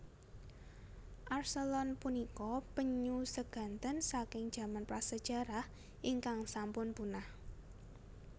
Archelon punika penyu seganten saking jaman prasejarah ingkang sampun punah